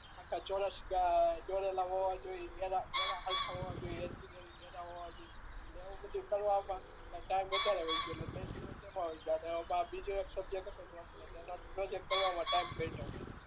આખા ચોરસ દોરેલા હોય તોય એરા હરખા હોવા જોઈએ, નાના હોવા જોઈએ એવું બધું કરવા માં ટાઇમ વધારે વહી ગયો ને ત્રણ દિવસ એમાં વહી ગયા એટલે બીજો એક સબ્જેક્ટ હતો તો એટલે એના પ્રોજેક્ટ કરવા માં ટાઇમ ધટ્યો